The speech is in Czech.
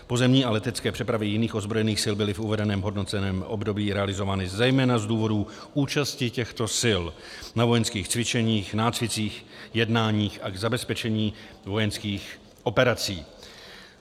Pozemní a letecké přepravy jiných ozbrojených sil byly v uvedeném hodnoceném období realizovány zejména z důvodů účasti těchto sil na vojenských cvičeních, nácvicích, jednáních a k zabezpečení vojenských operací.